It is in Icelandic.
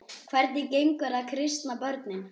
Hvernig gengur að kristna börnin?